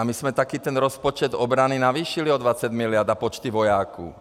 A my jsme taky ten rozpočet obrany navýšili o 20 mld. a počty vojáků.